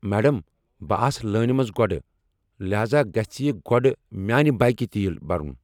Madam, بہٕ آس لٲنہ منٛز گۄڈٕ ، لہذا گژھہِ یہِ گوڈٕ میانہِ بایكہِ تیل بھرُن ۔